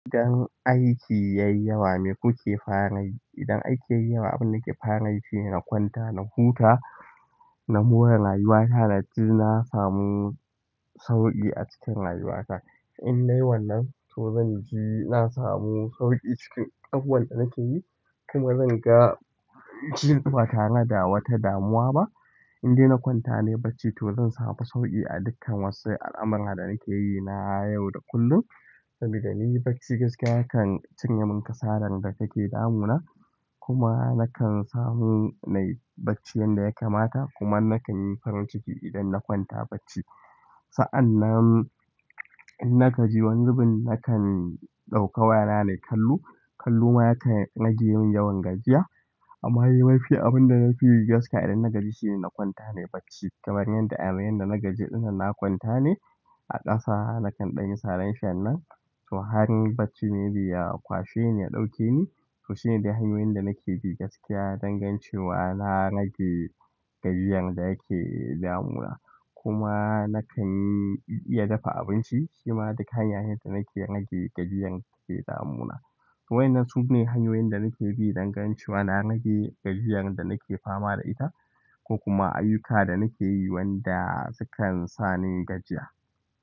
Idan aiki yayi yawa me kuke fara yi? Idan aiki yayi yawa abinda nake fara yi shine na kwanta, na huta, na mora rayuwata, naji na samu sauƙi a cikin rayuwata. In nayi wannan to zanji na samu sauƙi cikin abubuwan da nake yi kuma zan ga, ji ba tare da wata damuwa ba. In dai na kwanta nayi bacci to zan samu sauƙi a dukkan wasu al'amurra da nake yi na yau da kullum. Sabida ni bacci gaskiya yakan cinye min kasalar da take damuna kuma na kan samu nai bacci yanda ya kamata kuma na kan yi farin ciki idan na kwanta bacci. Sa'annan in na gaji wani zubin nakan ɗauka wayana nayi kallo, kallo ma yakan rage mun yawan gajiya amma yawanci abinda nafi yi gaskiya idan na gaji shine na kwanta nai bacci. Kamar yanda a yanzu yanda na gaji ɗinnan na kwanta ne a ƙasa nakan ɗan yi sa reshen nan to har bacci maybe ya kwashe yayi ya ɗauke ni, to shine dai hanyoyin da nake bi gaskiya don ganin cewa na rage gajiyar da yake damuna kuma na kan iya dafa abinci shima duk hanya ne da nake rage gajiyar da take damuna. Wa'innan su ne hanyoyin da nake bi don ganin cewa na rage gajiyar da nake fama da ita ko kuma ayyuka da nake yi wanda sukan sani gajiya.